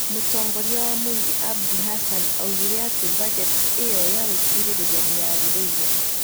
Mũtongoria wa mũingĩ Abdi Hassan oigire atĩ bajeti ĩyo ya gũteithĩrĩria nĩ yagĩrĩire.